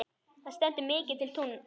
Það stendur mikið til núna.